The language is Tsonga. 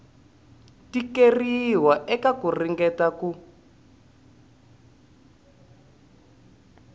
tikeriwa eka ku ringeta ku